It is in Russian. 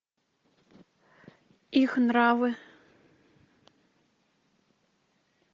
их нравы